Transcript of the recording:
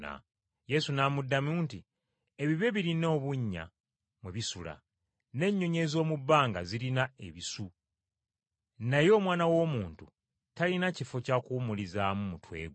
Yesu n’amuddamu nti, “Ebibe birina obunnya mwe bisula, n’ennyonyi ez’omu bbanga zirina ebisu, naye Omwana w’Omuntu talina kifo kya kuwumulizaamu mutwe gwe.”